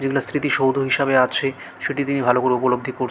এটা স্মৃতি সৌধ হিসাবে আছেসেটি দিয়ে ভালো করে উপলদ্বি কর।